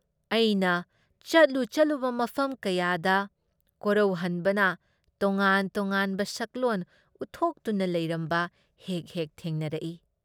ꯑꯩꯅ ꯆꯠꯂꯨ ꯆꯠꯂꯨꯕ ꯃꯐꯝ ꯀꯌꯥꯗ ꯀꯣꯔꯧꯍꯟꯕꯅ ꯇꯣꯉꯥꯟ ꯇꯣꯉꯥꯟꯕ ꯁꯛꯂꯣꯟ ꯎꯠꯊꯣꯛꯇꯨꯅ ꯂꯩꯔꯝꯕ ꯍꯦꯛ ꯍꯦꯛ ꯊꯦꯡꯅꯔꯛꯏ ꯫